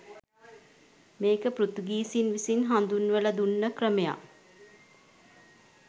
මේක පෘතුගීසින් විසින් හඳුන්වල දුන්නා ක්‍රමයක්.